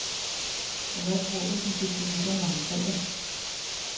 Og hvad tror du, de fik til middag langfredag?